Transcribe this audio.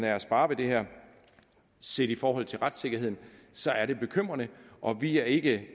er at spare ved det her set i forhold til retssikkerheden så er det bekymrende og vi er ikke